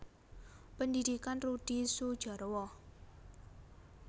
Pendhidhikan Rudi Sudjarwo